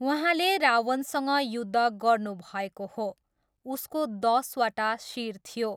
उहाँले रावणसँग युद्ध गर्नुभएको हो, उसको दसवटा शिर थियो।